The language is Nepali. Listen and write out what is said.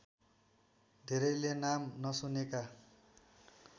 धेरैले नाम नसुनेका